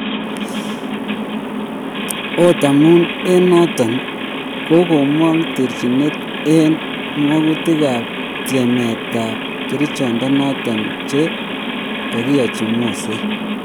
Ot amun en noton kogomong terchinet en mangutik ap tiemet ap kerichechoton che kigiyochi Moset